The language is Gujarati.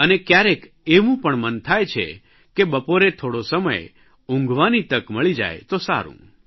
અને કયારેક એવું પણ મન થાય છે કે બપોરે થોડો સમય ઊંઘવાની તક મળી જાય તો સારૂં